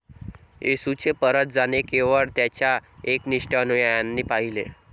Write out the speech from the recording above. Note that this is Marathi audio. येशूचे परत जाणे केवळ त्याच्या एकनिष्ठ अनुयायांनी पाहिले.